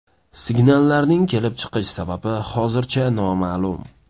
Signallarning kelib chiqish sababi hozircha noma’lum.